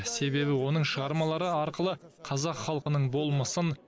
себебі оның шығармалары арқылы қазақ халқының болмысын